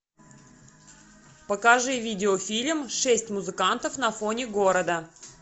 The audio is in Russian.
покажи видеофильм шесть музыкантов на фоне города